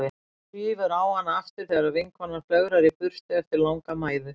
Svífur á hana aftur þegar vinkonan flögrar í burtu eftir langa mæðu.